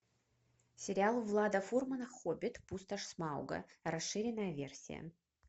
сериал влада фурмана хоббит пустошь смауга расширенная версия